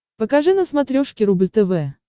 покажи на смотрешке рубль тв